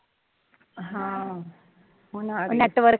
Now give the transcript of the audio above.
ਹਾ, ਹੁਣ ਆ ਰਹੀ ਐ,